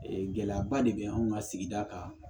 Ee gɛlɛyaba de bɛ anw ka sigida kan